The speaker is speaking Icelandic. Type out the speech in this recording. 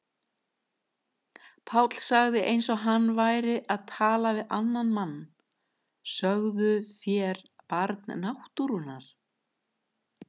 Páll sagði eins og hann væri að tala við annan mann: Sögðuð þér Barn náttúrunnar?